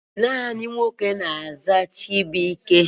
Naanị nwoke na-aza Chibụike.